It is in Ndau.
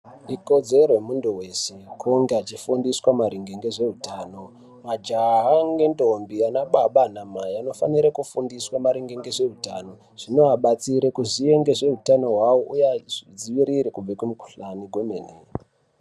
Ikodzero yemuntu wese kunge achifundiswa maringe ngezveutano. Majaha ngendombi, anababa anamai anofanire kufundiswa maringe ngezveutano. Zvinovabatsire kuziye ngezveutano hwavo uye achizvidziirire kubve kumikuhlani kwemene.